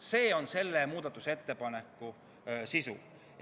See on selle muudatusettepaneku sisu.